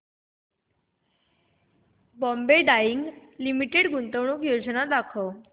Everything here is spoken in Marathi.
बॉम्बे डाईंग लिमिटेड गुंतवणूक योजना दाखव